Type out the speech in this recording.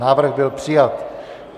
Návrh byl přijat.